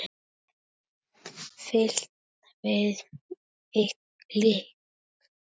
Fitlar við lykla.